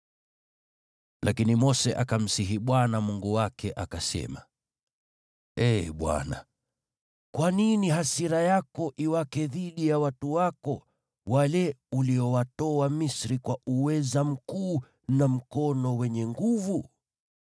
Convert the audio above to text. Lakini Mose akamsihi Bwana Mungu wake, akasema, “Ee Bwana , kwa nini hasira yako iwake dhidi ya watu wako, wale uliowatoa Misri kwa uweza mkuu na mkono wenye nguvu?